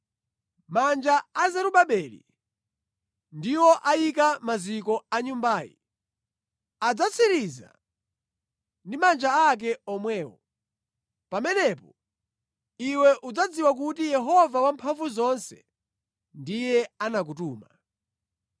“Manja a Zerubabeli ndiwo ayika maziko a Nyumbayi; adzatsiriza ndi manja ake omwewo. Pamenepo iwe udzadziwa kuti Yehova Wamphamvuzonse ndiye anakutuma.